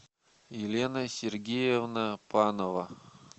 елена сергеевна панова